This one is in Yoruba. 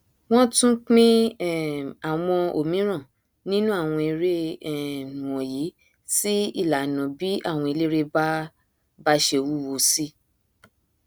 wọn tún pín um àwọn òmíran nínú àwọn eré um wọnyí sí ìlànà bí àwọn eléré bá bá ṣe wúwo sí